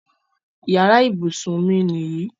Yàrá ibùsùn mi nìyí.